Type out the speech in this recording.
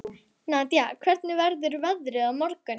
Nadia, hvernig verður veðrið á morgun?